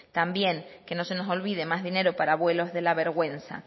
también que no se nos olvide más dinero para vuelos de la vergüenza